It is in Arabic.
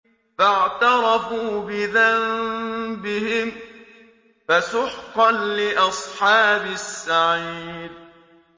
فَاعْتَرَفُوا بِذَنبِهِمْ فَسُحْقًا لِّأَصْحَابِ السَّعِيرِ